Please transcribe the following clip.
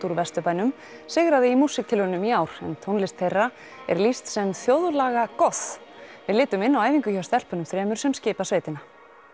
úr Vesturbænum sigraði í músíktilraunum ár en tónlist þeirra er lýst sem þjóðlagagoth við litum inn á æfingu hjá stelpunum þremur sem skipa sveitina